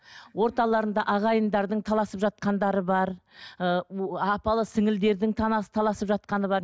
орталарында ағайындардың таласып жатқандары бар ы апалы таласып жатқаны бар